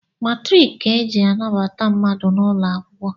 Matriki ka e ji anabata mmadụ n’ụlọ akwụkwọ